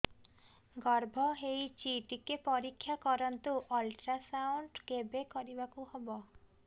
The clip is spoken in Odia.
ଗର୍ଭ ହେଇଚି ଟିକେ ପରିକ୍ଷା କରନ୍ତୁ ଅଲଟ୍ରାସାଉଣ୍ଡ କେବେ କରିବାକୁ ହବ